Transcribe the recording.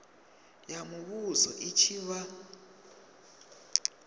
ya muvhuso i tshi vha